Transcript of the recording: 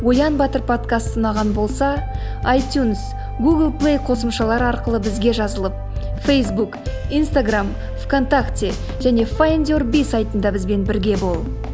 оян батыр подкасты ұнаған болса айтюнс гугл плей қосымшалары арқылы бізге жазылып фейсбук инстаграмм в контакте және файндюрби сайтында бізбен бірге бол